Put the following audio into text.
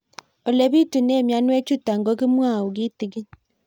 Ole pitune mionwek chutok ko kimwau kitig'ín